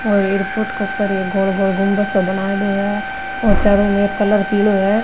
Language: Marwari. और एयरपोर्ट के ऊपर ये गोल गोल गुम्मद सा बनाईडो है और चारो मेर कलर पिलो है।